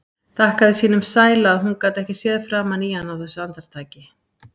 Þakkaði sínum sæla að hún gat ekki séð framan í hann á þessu andartaki.